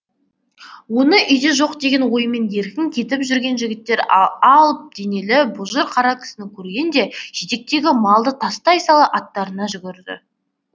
оны үйде жоқ деген оймен еркін кетіп жүрген жігіттер ал алып денелі бұжыр қара кісіні көргенде жетектегі малды тастай сала аттарына жүгірді